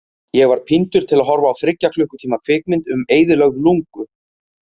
Ég var píndur til að horfa á þriggja klukkutíma kvikmynd um eyðilögð lungu.